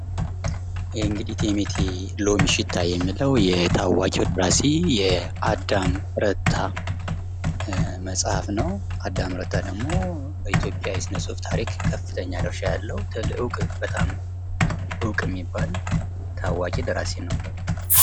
ይህ እንግዲህ እቴሜቴ የሎሚ ሽታ የሚለው የታዋቂው ደራሲ የአዳም ረታ መጽሐፍ ነው። አዳም ረታ ደሞ በኢትዮጵያ የስነጽሁፍ ታሪክ ከፍተኛ ድርሻ ያለው እውቅ የሚባል ደራሲ ነው።